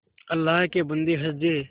अल्लाह के बन्दे हंस दे